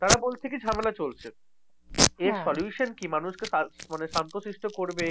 তারা বলছে কি ঝামেলা চলছে। এর solution কি? মানুষকে সার মানে শান্তশিষ্ট করবে